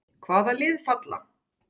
Hvaða lið falla?